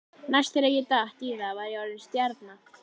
Næst þegar ég datt í það var ég orðinn stjarna.